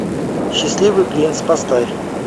счастливый принц поставь